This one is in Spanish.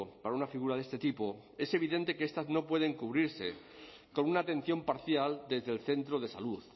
para una figura de este tipo es evidente que estas no pueden cubrirse con una atención parcial desde el centro de salud